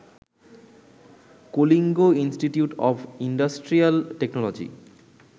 Kalinga institute of industrial technology